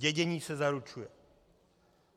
Dědění se zaručuje.